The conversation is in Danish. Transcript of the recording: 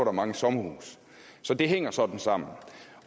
er mange sommerhuse så det hænger sådan sammen